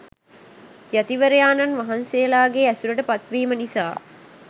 යතිවරයාණන් වහන්සේලාගේ ඇසුරට පත්වීම නිසා